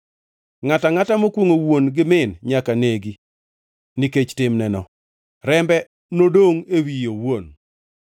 Ngʼato angʼata mokwongʼo wuon kata min, nyaka negi; nikech timneno; rembe nodongʼ e wiye owuon.